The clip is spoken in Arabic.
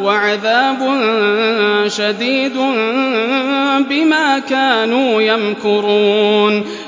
وَعَذَابٌ شَدِيدٌ بِمَا كَانُوا يَمْكُرُونَ